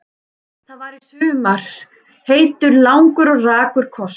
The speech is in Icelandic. Það var í sumar heitur, langur og rakur koss.